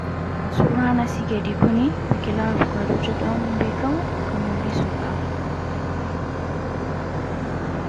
Suuraan asii gadii kunii biqilaa avukaadoo jedhamuun beekamu kan mul'isu dha.